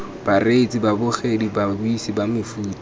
bareetsi babogedi babuisi ba mefuta